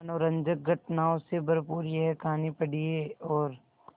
मनोरंजक घटनाओं से भरपूर यह कहानी पढ़िए और